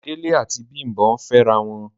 Dele ati Bimbo ǹ fẹrawọn